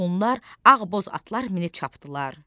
Onlar ağboz atlar minib çapdılar.